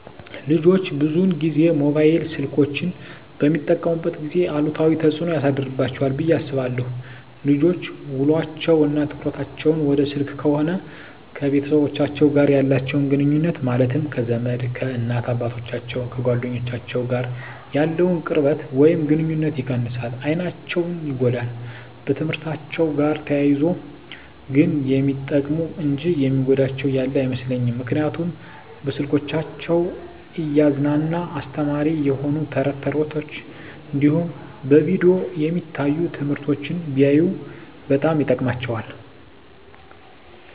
ልጆች ብዙን ጊዜ ሞባይል ስልኮችን በሚጠቀሙበት ጊዜ አሉታዊ ተፅዕኖ ያሳድርባቸዋል ብየ አስባለሁ። ልጆች ውሎቸው እና ትኩረታቸውን ወደ ስልክ ከሆነ ከቤተሰቦቻቸው ጋር ያላቸውን ግኑኙነት ማለትም ከዘመድ፣ ከእናት አባቶቻቸው፣ ከጓደኞቻቸው ጋር ያለውን ቅርበት ወይም ግኑኝነት ይቀንሳል፣ አይናቸው ይጎዳል፣ በትምህርትአቸው ጋር ተያይዞ ግን የሚጠቅሙ እንጂ የሚጎዳቸው ያለ አይመስለኝም ምክንያቱም በስልኮቻቸው እያዝናና አስተማሪ የሆኑ ተረት ተረቶች እንዲሁም በቪዲዮ የሚታዩ ትምህርቶችን ቢያዩ በጣም ይጠቅማቸዋል።